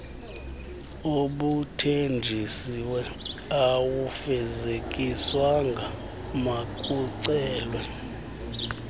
obuthenjisiwe awufezekiswanga makucelwe